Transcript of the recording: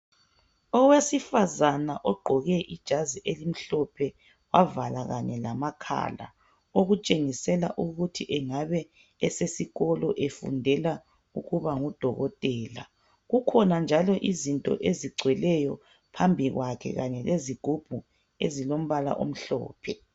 Owesifazana ogqoke ijazi elimhlophe wavala kanye lamakhala okutshengisela ukuthi engabe esesikolo efundela ukuba ngudokotela. Kukhona njalo izinto ezigcweleyo phambi kwakhe kanye lezigubhu ezilombala omhlophe.